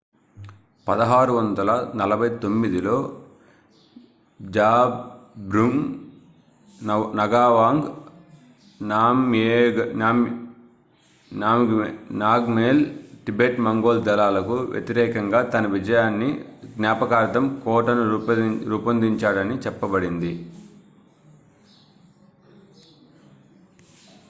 1649లో జాబ్ద్రుంగ్ నగావాంగ్ నామ్గ్యేల్ టిబెట్-మంగోల్ దళాలకు వ్యతిరేకంగా తన విజయాన్ని జ్ఞాపకార్థం కోటను రూపొందించాడని చెప్పబడింది